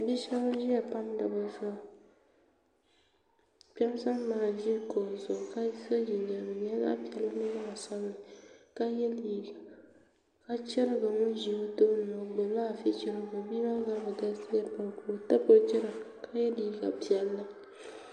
Bia shɛban ziya n pamdi bi zuɣu kpɛma sani maa n zi kuɣuka so jinjɛm ŋmaa ka di naba ni sabigi ka yiɛ liiga ka chirigiri ŋuni zi o tooni maa o gbubi la afi chirigi o bia maa zabiri galisiya pam ka o tabi o gira ka yiɛ liiga piɛlli.